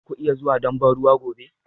Za ku iya zuwa don ban ruwa gobe?